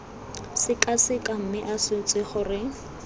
sekaseka mme a swetse gore